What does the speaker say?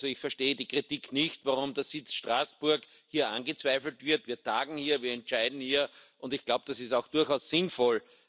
Also ich verstehe die Kritik nicht, warum der Sitz Straßburg hier angezweifelt wird Wir tagen hier, wir entscheiden hier, und ich glaube, das ist auch durchaus sinnvoll.